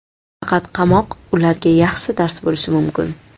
Faqat qamoq ularga yaxshi dars bo‘lishi mumkin.